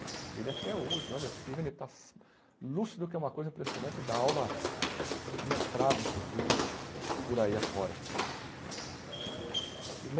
E ele até hoje, olha, fica vendo, ele está lúcido, que é uma coisa impressionante, e dá aula mestrada, inclusive, por aí afora. E